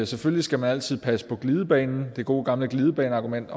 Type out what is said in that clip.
selvfølgelig skal man altid passe på glidebanen det gode gamle glidebaneargument